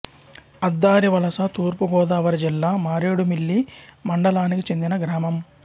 అద్దారివలస తూర్పు గోదావరి జిల్లా మారేడుమిల్లి మండలానికి చెందిన గ్రామం